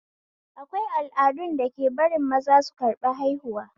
Akwai al'adun dake barin maza su karɓi haihuwa